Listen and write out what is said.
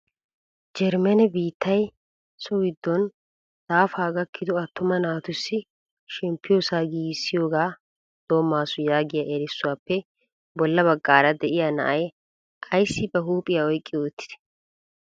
Jerimmene biittiya so giddon daafa gakkido attuma naatussi shemppiyoosa giigissiyooga doomasu yaagiya erissuwappe bolla baggaara de'iyaa na'ay ayssi ba huuphiya oyqqi uttide?